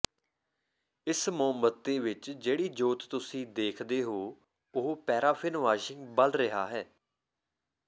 ਇਕ ਮੋਮਬੱਤੀ ਵਿਚ ਜਿਹੜੀ ਜੋਤ ਤੁਸੀਂ ਦੇਖਦੇ ਹੋ ਉਹ ਪੈਰਾਫ਼ਿਨ ਵਾਸ਼ਿੰਗ ਬਲ ਰਿਹਾ ਹੈ